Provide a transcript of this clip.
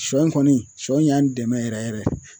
Sɔ in kɔni sɔ in y'an dɛmɛ yɛrɛ yɛrɛ.